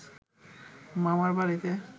মামার বাড়িতে